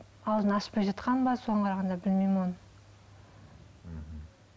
алдын ашпай жатқан ба соған қарағанда білмеймін оны мхм